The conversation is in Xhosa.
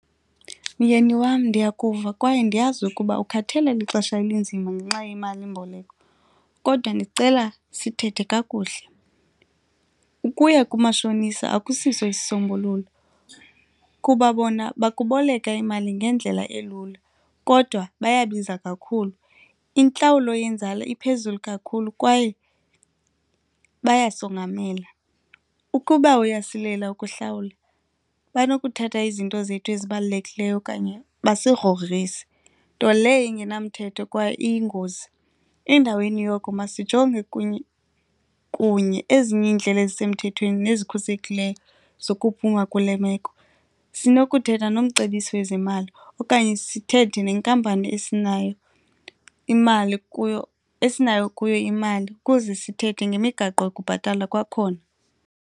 Myeni wam, ndiyakuva kwaye ndiyazi ukuba ukhathalela lixesha elinzima ngenxa yemalimboleko kodwa ndicela sithethe kakuhle. Ukuya kumashonisa akusiso isisombululo kuba bona bakuboleka imali ngendlela elula kodwa bayabiza kakhulu, intlawulo yenzala iphezulu kakhulu kwaye bayasongamela. Ukuba uyasilela ukuhlawula, banokuthatha izinto zethu ezibalulekileyo okanye basigrogrise nto leyo ingenamthetho kwaye iyingozi. Endaweni yoko masijonge kunye kunye ezinye iindlela ezisemthethweni nezikhusekileyo zokuphuma kule meko. Sinokuthetha nomcebisi wezemali okanye sithethe nenkampani esinayo imali kuyo esinayo kuyo imali ukuze sithethe ngemigaqo yokubhatala kwakhona.